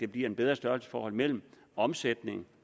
bliver et bedre størrelsesforhold mellem omsætning